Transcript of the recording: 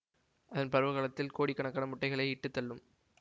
அதன் பருவ காலத்தில் கோடிக்கணக்கான முட்டைகளை இட்டுத் தள்ளும்